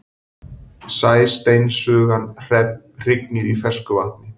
Sæsteinsugan hrygnir í fersku vatni.